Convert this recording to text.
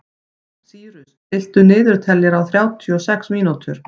Sýrus, stilltu niðurteljara á þrjátíu og sex mínútur.